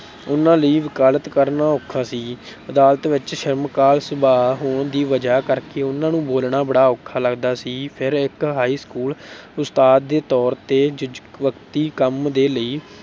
ਉਨ੍ਹਾਂ ਲਈ ਵਕਾਲਤ ਕਰਨਾ ਔਖਾ ਸੀ, ਅਦਾਲਤ ਵਿੱਚ ਸ਼ਰਮਾਕਲ ਸੁਭਾਅ ਹੋਣ ਦੀ ਵਜ੍ਹਾ ਕਰਕੇ ਉਨ੍ਹਾਂ ਨੂੰ ਬੋਲਣਾ ਬੜਾ ਔਖਾ ਲੱਗਦਾ ਸੀ। ਫਿਰ ਇੱਕ high school ਉਸਤਾਦ ਦੇ ਤੌਰ ਤੇ ਜ਼ੁਜ਼ਵਕਤੀ ਕੰਮ ਦੇ ਲਈ